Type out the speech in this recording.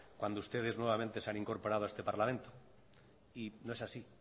cuando ustedes nuevamente se han incorporado a este parlamento y no es así